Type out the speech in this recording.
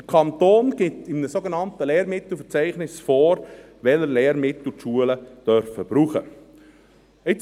– Der Kanton gibt in einem sogenannten Lehrmittelverzeichnis vor, welche Lehrmittel die Schulen brauchen dürfen.